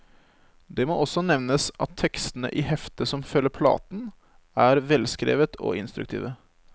Det må også nevnes at tekstene i heftet som følger platen, er velskrevet og instruktive.